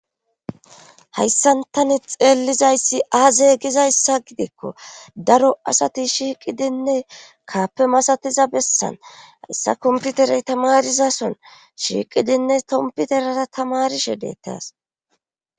Hayssantani xeellizayssi aze gizayssa gidikko daro asati shiiqidinne kaappe masatiza bessan hayssa komputerey tamarizason shiiqidinne tompiterara tamarishe deettas